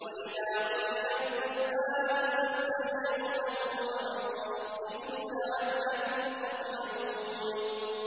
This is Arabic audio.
وَإِذَا قُرِئَ الْقُرْآنُ فَاسْتَمِعُوا لَهُ وَأَنصِتُوا لَعَلَّكُمْ تُرْحَمُونَ